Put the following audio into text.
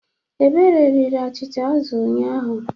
Ebube riri achịcha azụ ụnyahụ.